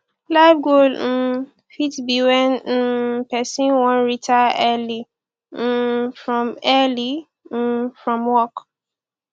life goal um fit be when um person wan retire early um from early um from work